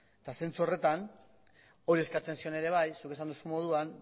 eta zentsu horretan hori eskatzen zion ere bai zuek esan duzuen moduan